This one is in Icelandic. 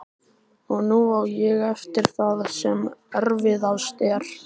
Og nú á ég eftir það sem erfiðast er.